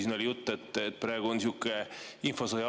Siin oli juttu, et praegu on sihuke infosõja ajastu.